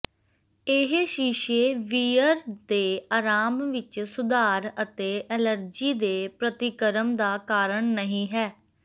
ਇਹ ਸ਼ੀਸ਼ੇ ਵੀਅਰ ਦੇ ਆਰਾਮ ਵਿੱਚ ਸੁਧਾਰ ਅਤੇ ਅਲਰਜੀ ਦੇ ਪ੍ਰਤੀਕਰਮ ਦਾ ਕਾਰਨ ਨਹੀ ਹੈ